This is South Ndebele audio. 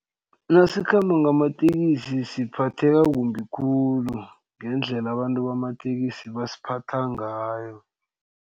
Nasikhamba ngamatekisi siphatheka kumbi khulu ngendlela abantu bamatekisi basiphatha ngayo.